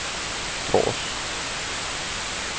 Tårs